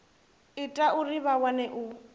ita uri vha kone u